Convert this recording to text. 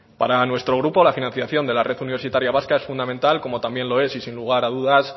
para nuestro grupo la financiación de la red universitaria vasca es fundamental como también lo es y sin lugar a dudas